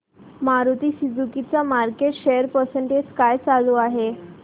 Maruti Suzuki चा market share percentage काय चालू आहे